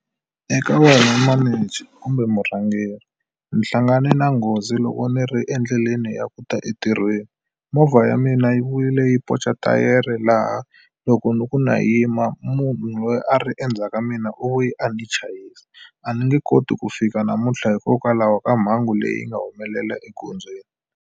Eka wena manager kumbe murhangeri ni hlangane na nghozi loko ni ri endleleni ya ku ta entirhweni. Movha ya mina yi vuyile yi ponca thayere laha loko ni ku na yima munhu loyi a ri endzhaku ka mina u vuye a ni chayisa. A ni nge koti ku fika namuntlha hikokwalaho ka mhangu leyi nga humelela egondzweni.